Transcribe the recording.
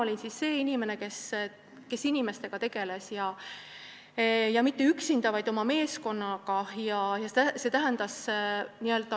Mina olin see inimene, kes inimestega tegeles, ja mitte üksinda, vaid oma meeskonnaga.